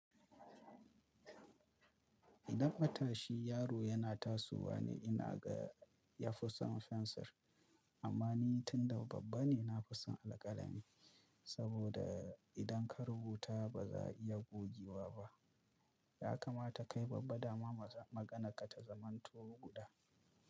Idan matashi yaro yana tasowa ne ina ga ya fi son fensir amma ni tun da babba ne na fi son alƙalami saboda idan ka rubuta ba za a iya gogewa ba. Ya kamata kai babba daman maganarka ta zamanto guda.